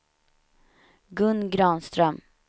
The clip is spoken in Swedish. Gun Granström